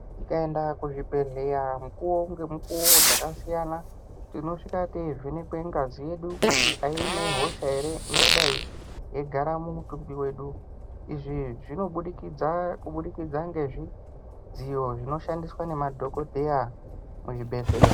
Tikaenda kuzvibhedhleya mukuvo ngemukuvo dzakasiyana. Tinosvike teivhenekwe ngazi yedu kuti ine hosha ere ingadai yeigara mumutumbi vedu. Izvi zvinobudikidza kubudikidza kubudikidza ngezvidziyo zvinoshandiswa nemadhogodheya muzvibhedhleya.